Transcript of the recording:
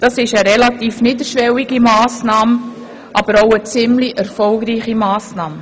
Das ist eine relativ niederschwellige und auch ziemlich erfolgreiche Massnahme.